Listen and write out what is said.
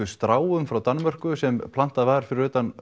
stráum frá Danmörku sem plantað var fyrir utan